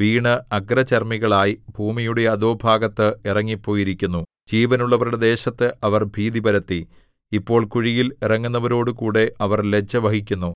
വീണ് അഗ്രചർമ്മികളായി ഭൂമിയുടെ അധോഭാഗത്ത് ഇറങ്ങിപ്പോയിരിക്കുന്നു ജീവനുള്ളവരുടെ ദേശത്ത് അവർ ഭീതി പരത്തി ഇപ്പോൾ കുഴിയിൽ ഇറങ്ങുന്നവരോടുകൂടെ അവർ ലജ്ജ വഹിക്കുന്നു